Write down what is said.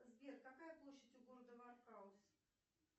сбер какая площадь у города варкаус